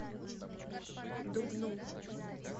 дубну